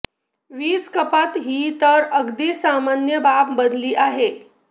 वीज कपात ही तर अगदी सामान्य बाब बनली आहे